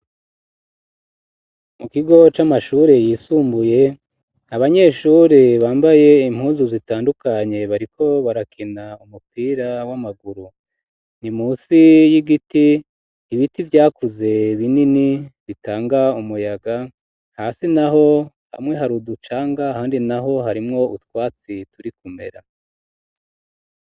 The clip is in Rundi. Mu kigo c'amashure yisumbuye abanyeshure bambaye impunzu zitandukanye bariko barakina umupira w'amaguru, ni munsi y'igiti ibiti vyakuze binini bitanga umuyaga hasi naho hamwe hari uducanga handi naho harimwo utwatsi turi kumera.